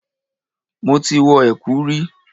Mo ti wọ ẹ̀kú rí.